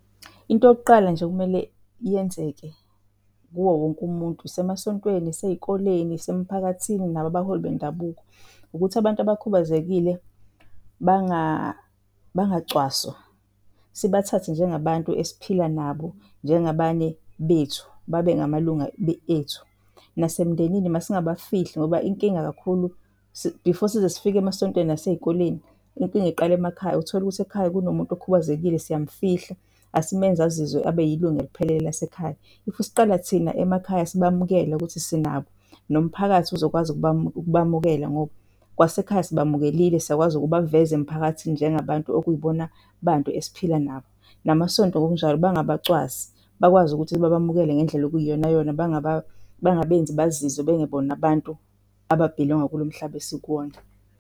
Into yokuqala nje okumele yenzeke kuwo wonke umuntu isemasontweni, iseyikoleni isemphakathini, nabo abaholi bendabuko ukuthi abantu abakubazekile bangacwaswa. Sibathathe njengabantu esiphila nabo njengabanye bethu babe ngamalunga ethu. Nasemndenini masingabafihli ngoba inkinga kakhulu before size sifike emasontweni nasezikoleni, Inkinga iqala emakhaya. Uthole ukuthi ekhaya kunomuntu okhubazekile siyamfihla, asimenzi azizwe abe yilunga eliphelele lasekhaya. If siqala thina emakhaya sibamukela ukuthi sinabo nomphakathi uzokwazi ukubamukela ngoba kwasekhaya sibamukelile. Sakwazi ukubaveza emphakathini njengabantu okuyibona bantu esiphila nabo. Namasonto, ngokunjalo bangabacwasi bakwazi ukuthi babamukele ngendlela okuyiyonayona. Bangabenzi bazizwe bengebona abantu ababhilonga kulomhlaba esikuwona.